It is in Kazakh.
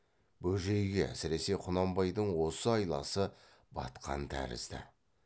бөжейге әсіресе құнанбайдың осы айласы батқан тәрізді